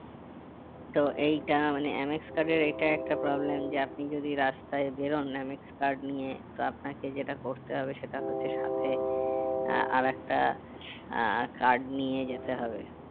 তো এইটা মানে MX card এর এটা একটা problem যে আপনি যদি রাস্তায় বেরোন MX card নিয়ে তো আপনাকে যেটা করতে হবে সেটা হচ্ছে সাথে আহ আর একটা আহ card নিয়ে যেতে হবে